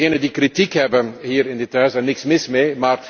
Degenen die kritiek hebben, hier in dit Huis, daar is niets mis mee.